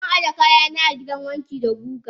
Zan ajeni kayana a gidan wanki da guga.